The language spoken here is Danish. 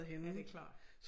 Ja det klart